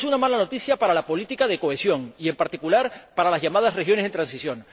Es una mala noticia para la política de cohesión y, en particular, para las llamadas regiones en transición.